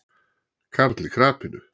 Karl í krapinu.